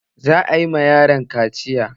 Za a yi ma yaron kaciya